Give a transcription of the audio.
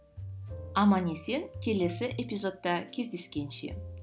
аман есен келесі эпизодта кездескенше